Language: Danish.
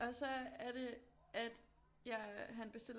Og så er det at jeg han bestiller